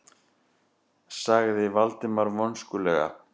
sagði Valdimar vonskulega.